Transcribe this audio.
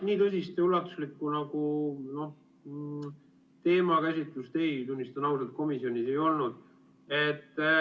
Nii tõsist ja ulatuslikku teemakäsitlust, tunnistan ausalt, komisjonis ei olnud.